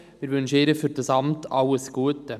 Wir wünschen ihr für dieses Amt alles Gute.